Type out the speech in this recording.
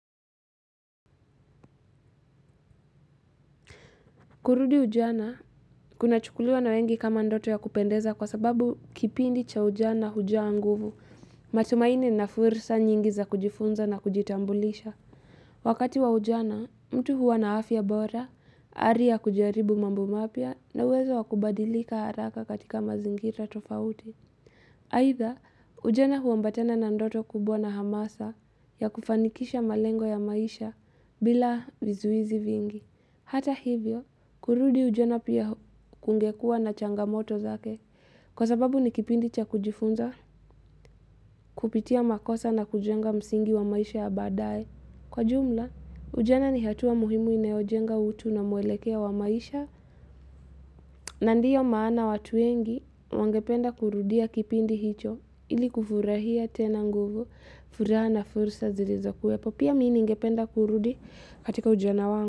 Kurudi ujana, kunachukuliwa na wengi kama ndoto ya kupendeza kwa sababu kipindi cha ujana hujaa nguvu, matumaini na fursa nyingi za kujifunza na kujitambulisha. Wakati wa ujana, mtu huwa na afya bora, ari ya kujaribu mambo mapya na uwezo wa kubadilika haraka katika mazingira tofauti. Aidha, ujana huambatana na ndoto kubwa na hamasa ya kufanikisha malengo ya maisha bila vizuizi vingi. Hata hivyo, kurudi ujana pia kungekua na changamoto zake. Kwa sababu ni kipindi cha kujifunza kupitia makosa na kujenga msingi wa maisha ya baadae. Kwa jumla, ujana ni hatua muhimu inayojenga utu na mwelekeo wa maisha. Na ndiyo maana watu wengi wangependa kurudia kipindi hicho ili kufurahia tena nguvu, furaha na fursa zilizokuwepo. Pia mimi ningependa kurudi katika ujana wangu.